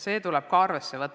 Seda tuleb ka arvesse võtta.